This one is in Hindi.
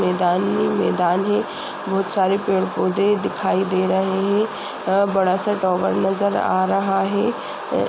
मैदान ही मैदान है। बोहोत सारे पेड़ पौधे दिखाई दे रहे हैं। बड़ा सा टावर नज़र आ रहा है। अ --